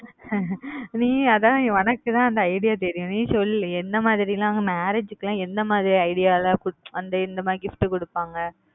நீ அதான் உனக்கு தான் அந்த idea தெரியும் நீ சொல்லு என்ன மாதிரி லாம் marriage க்கு எந்த மாதிரி ல அந்த இந்த மாதிரி gift கொடுப்பாங்க